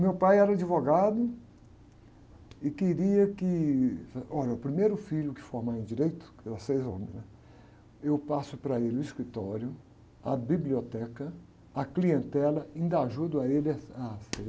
Meu pai era advogado e queria que... Olha, o primeiro filho que formar em direito, que era seis anos, né? Eu passo para ele o escritório, a biblioteca, a clientela, ainda ajudo a ele ah, a ser...